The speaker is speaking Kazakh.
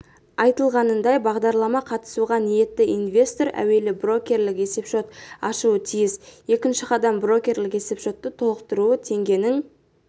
айтылғанындай бағдарлама қатысуға ниетті инвестор әуелі брокерлік есепшот ашуы тиіс екінші қадам брокерлік есепшотты толықтыру теңгенің